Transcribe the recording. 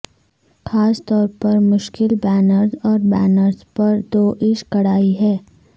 خاص طور پر مشکل بینرز اور بینرز پر دوئدش کڑھائی ہے